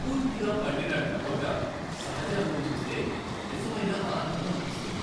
పూర్తిగా పండిన టమోటా సహజ అందం చూస్తే నిజమైన ఆనందం అనిపిస్తుంది.